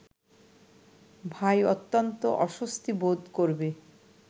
ভাই অত্যন্ত অস্বস্তি বোধ করবে